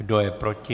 Kdo je proti?